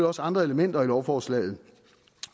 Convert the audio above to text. også andre elementer i lovforslaget